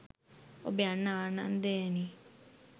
ඔබ යන්න ආනන්දයෙනි